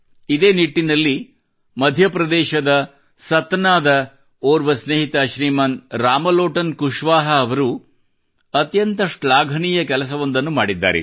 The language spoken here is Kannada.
ಇದೇ ನಿಟ್ಟಿನಲ್ಲಿ ಮಧ್ಯಪ್ರದೇಶದ ಸತನಾದ ಓರ್ವ ಸ್ನೇಹಿತ ಶ್ರೀಮಾನ್ ರಾಮಲೋಟನ್ ಕುಶ್ವಾಹಾ ಅವರು ಅತ್ಯಂತ ಶ್ಲಾಘನೀಯ ಕೆಲಸವೊಂದನ್ನು ಮಾಡಿದ್ದಾರೆ